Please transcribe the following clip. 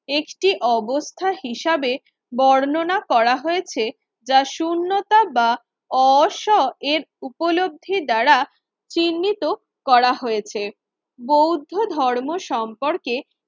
একটি অবস্থা হিসাবে বর্ণনা করা হয়েছে। যা শূন্যতা বা অস এর উপলব্ধি দ্বারা চিহ্নিত করা হয়েছে বৌদ্ধ ধর্ম সম্পর্কে